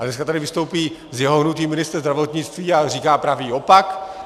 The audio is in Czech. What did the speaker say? A dnes tady vystoupí z jeho hnutí ministr zdravotnictví a říká pravý opak.